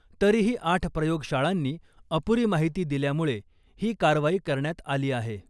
तरीही आठ प्रयोगशाळांनी अपुरी माहिती दिल्यामुळे ही कारवाई करण्यात आली आहे .